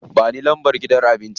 Ba ni lambar gidan abincin.